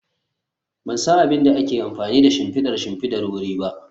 Ban san abin da ake amfani da shimfidar shimfidar wuri ba